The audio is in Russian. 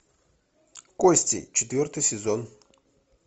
кости четвертый сезон